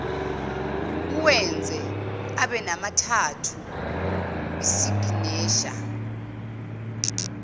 uwenze abemathathu isignesha